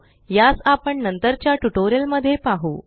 यास आपण नंतरच्या ट्यूटोरियल मध्ये पाहु